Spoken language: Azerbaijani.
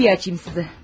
Mən qapını açım sizə.